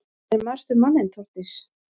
Er margt um manninn Þórdís?